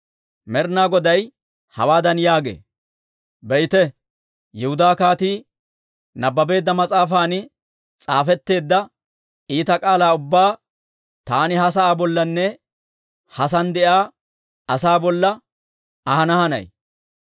Med'ina Goday hawaadan yaagee; ‹Be'ite, Yihudaa kaatii nabbabeedda mas'aafan s'aafetteedda iita k'aalaa ubbaa taani ha sa'aa bollanne ha sa'aan de'iyaa asaa bolla ahana hanay.